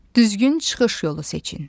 Düzgün çıxış yolu seçin.